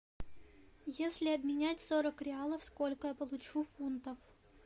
если обменять сорок реалов сколько я получу фунтов